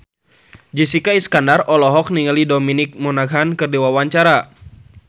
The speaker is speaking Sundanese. Jessica Iskandar olohok ningali Dominic Monaghan keur diwawancara